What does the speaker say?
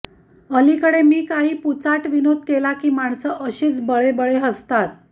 अलीकडे मी काही पुचाट विनोद केला की माणसं अशीच बळेबळे हसतात